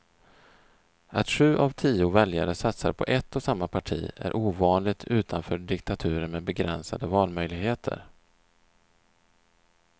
Att sju av tio väljare satsar på ett och samma parti är ovanligt utanför diktaturer med begränsade valmöjligheter.